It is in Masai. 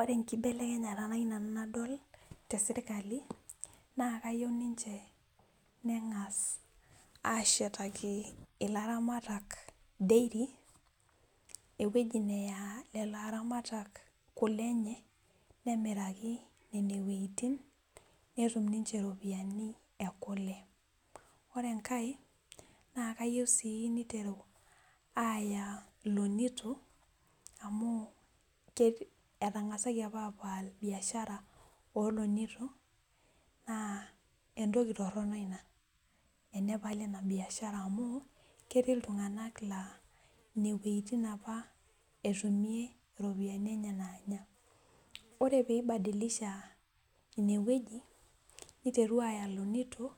ore enkibelekenyata nayieu nanu nadol tesirkali naa keyieu ninche nang'as ashetaki ilaramatak dairy eweji neya kulo aramatak kule enye nemiraki niche nene weitin netum niche iropiyiani enye, ore enkae naa kayieu sii niteru aya ilonitok , amu etang'asaki apa apal biashara oolonitok naa entoki torono ina enepali ina biashara amu ketii iltung'anak naa ineweitin apa etumie iropiyiani enye naanya ,ore pee ibadilisha ineweji niteru aya ilonitok